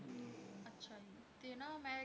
ਅੱਛਾ ਜੀ ਤੇ ਨਾ ਮੈਂ